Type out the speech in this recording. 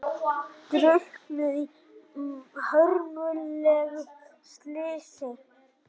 Drukknuðu í hörmulegu slysi